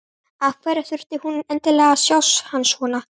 Af hverju þurfti hún endilega að sjá hann svona!